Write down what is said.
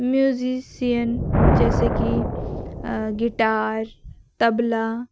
Musician जैसे कि guitar tabla.